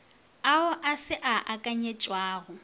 ao a se a akanyetšwago